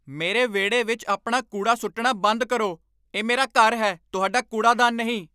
ਮੇਰੇ ਵਿਹੜੇ ਵਿੱਚ ਆਪਣਾ ਕੂੜਾ ਸੁੱਟਣਾ ਬੰਦ ਕਰੋ। ਇਹ ਮੇਰਾ ਘਰ ਹੈ, ਤੁਹਾਡਾ ਕੂੜਾਦਾਨ ਨਹੀਂ!